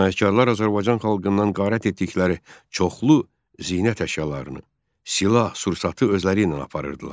Cinayətkarlar Azərbaycan xalqından qarət etdikləri çoxlu zinət əşyalarını, silah-sursatı özləri ilə aparırdılar.